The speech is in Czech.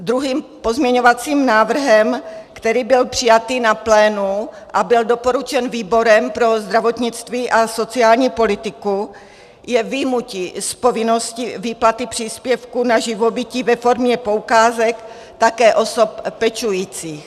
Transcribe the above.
Druhým pozměňovacím návrhem, který byl přijatý na plénu a byl doporučen výborem pro zdravotnictví a sociální politiku, je vyjmutí z povinnosti výplaty příspěvku na živobytí ve formě poukázek také osob pečujících.